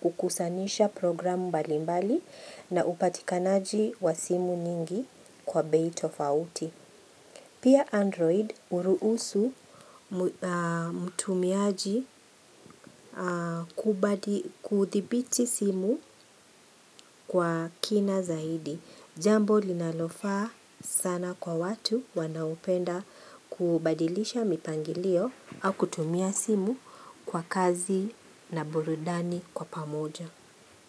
kukusanisha programu mbalimbali na upatikanaji wa simu nyingi kwa bei tofauti Pia Android uruhusu mtumiaji kuthibiti simu kwa kina zaidi. Jambo linalofaa sana kwa watu wanaopenda kubadilisha mipangilio au kutumia simu kwa kazi na burudani kwa pamoja.